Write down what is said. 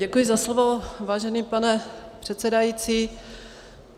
Děkuji za slovo, vážený pane předsedající.